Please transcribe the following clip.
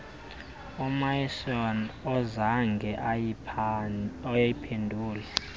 umaison azange ayiphendule